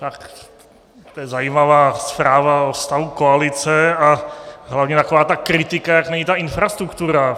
Tak to je zajímavá zpráva o stavu koalice a hlavně taková ta kritika, jak není ta infrastruktura.